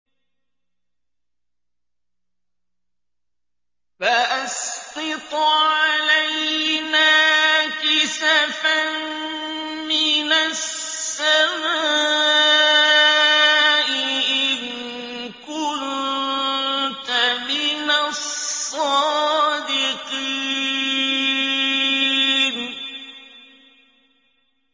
فَأَسْقِطْ عَلَيْنَا كِسَفًا مِّنَ السَّمَاءِ إِن كُنتَ مِنَ الصَّادِقِينَ